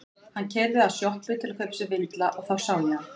Hann keyrði að sjoppu til að kaupa sér vindla og þá sá ég hana.